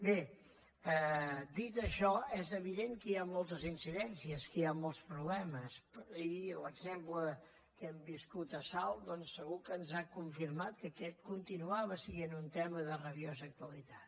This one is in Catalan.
bé dit això és evident que hi ha moltes incidències que hi ha molts problemes i l’exemple que hem viscut a salt doncs segur que ens ha confirmat que aquest continuava sent un tema de rabiosa actualitat